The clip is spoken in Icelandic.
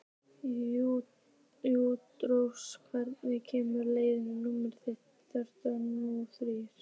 Júlírós, hvenær kemur leið númer þrjátíu og þrjú?